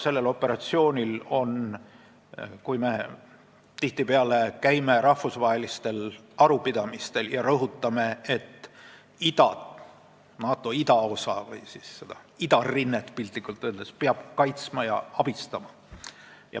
Me käime tihtipeale rahvusvahelistel arupidamistel, kus rõhutatakse, et NATO idaosa või piltlikult öeldes seda idarinnet peab kaitsma ja abistama.